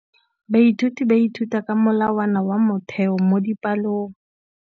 Baithuti ba ithuta ka molawana wa motheo mo dipalong.